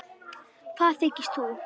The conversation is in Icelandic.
Hvað þykist þú.